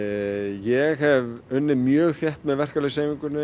ég hef unnið mjög þétt með verkalýðshreyfingunni